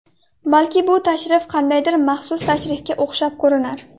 Balki bu tashrif qandaydir maxsus tashrifga o‘xshab ko‘rinar.